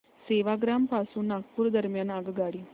सेवाग्राम पासून नागपूर दरम्यान आगगाडी